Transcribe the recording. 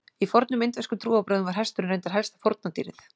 í fornum indverskum trúarbrögðum var hesturinn reyndar helsta fórnardýrið